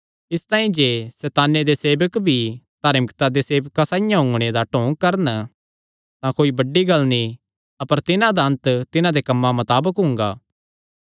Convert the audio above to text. इसतांई जे सैताने दे सेवक भी धार्मिकता दे सेवकां साइआं होणे दा ढोंग करन तां कोई बड्डी गल्ल नीं अपर तिन्हां दा अन्त तिन्हां दे कम्मां मताबक हुंगा